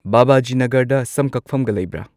ꯕꯥꯕꯥꯖꯤ ꯅꯒꯔꯗ ꯁꯝ ꯀꯛꯐꯝꯒ ꯂꯩꯕ꯭ꯔꯥ